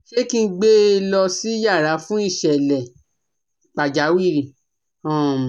Ṣé kí n gbe lọ sí yàrà fún ìṣẹ̀lẹ̀ pàjáwìrì? um